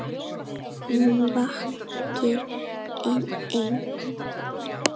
Hún vakir ein.